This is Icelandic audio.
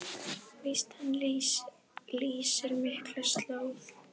Víst hann lýsir myrka slóð.